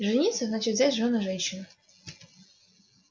жениться значит взять в жёны женщину